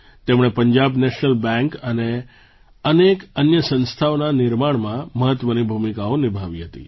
તેમણે Punjab national bank અને અનેક અન્ય સંસ્થાઓના નિર્માણમાં મહત્ત્વની ભૂમિકાઓ નિભાવી હતી